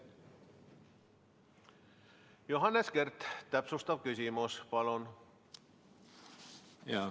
Johannes Kert, täpsustav küsimus, palun!